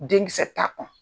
Denkisɛ t'a